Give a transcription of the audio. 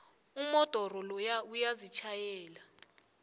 umodoro loya uyazitjhayela